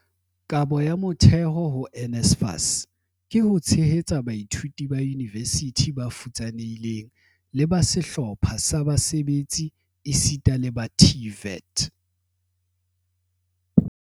"Kabo ya motheo ho NSFAS ho tshehetsa baithuti ba yunivesithi ba futsanehileng le ba sehlopha sa basebetsi esita le ba TVET"